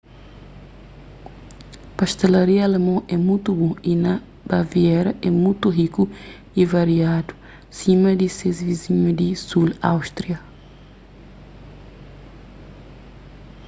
pastelaria alemon é mutu bon y na baviera é mutu riku y variadu sima di ses vizinhu di sul áustria